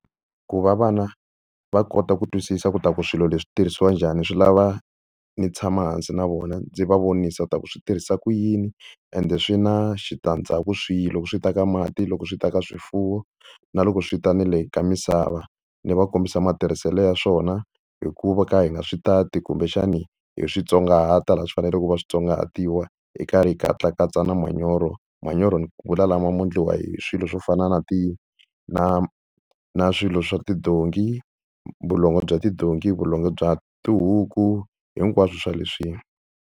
Ku va vana va kota ku twisisa ku ta ku swilo leswi swi tirhisiwa njhani swi lava ni tshama hansi na vona ndzi va vonisa ku ta ku swi tirhisa ku yini, ende swi na switandzhaku swihi loko swi ta ka mati, loko swi ta ka swifuwo na loko swi ta ni le ka misava ni va kombisa matirhiselo ya swona hikuva ka hi nga swi tati kumbexani hi swi tsongahata laha swi faneleke ku va swi tsongahatiwa hi karhi hi katsakatsa na manyoro. Manyoro ni vula lama mo endliwa hi swilo swo fana na na na swilo swa tidonki vulongo bya tidonki, vulongo bya tihuku hinkwaswo swa swoleswiya.